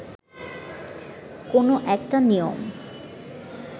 কোনো একটা নিয়ম